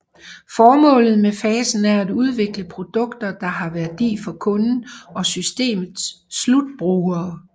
Formålet med fasen er at udvikle produkter der har værdi for kunden og systemets slutbrugere